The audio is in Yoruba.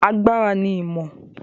Agbára ni ìmọ̀.